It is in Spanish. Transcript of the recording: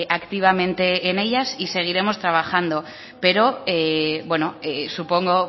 activamente en ellas y seguiremos trabajando pero bueno supongo